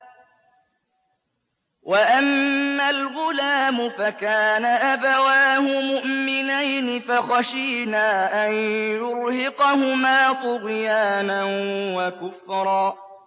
وَأَمَّا الْغُلَامُ فَكَانَ أَبَوَاهُ مُؤْمِنَيْنِ فَخَشِينَا أَن يُرْهِقَهُمَا طُغْيَانًا وَكُفْرًا